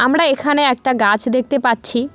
আমরা এখানে একটা গাছ দেখতে পাচ্ছি।